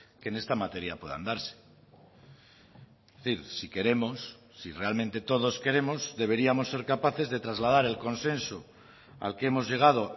que en esta materia puedan darse es decir si queremos si realmente todos queremos deberíamos ser capaces de trasladar el consenso al que hemos llegado